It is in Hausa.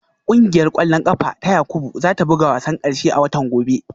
Kungiyar kwallon kafa ta Yakubu za ta buga wasan karshe a watan gobe